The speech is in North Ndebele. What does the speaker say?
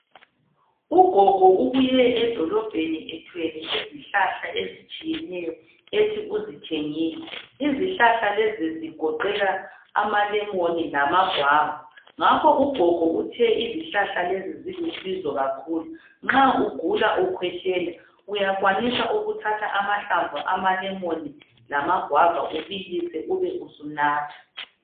Ugogo ubuye edolobheni ethwele izihlahla ezitshiyeneyo ethi uzithengile izihlahla lezigoqela amalemoni lamagwava ngakho ugogo uthe izihlahla lezi zilusizo kakhulu nxa ugula ukhwehlela uyakwanisa ukuthatha amahlamvu amalemon lamagwava ubilise ube usunatha.